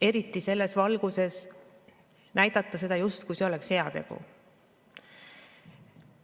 Eriti, et seda näidatakse selles valguses, justkui see oleks heategu.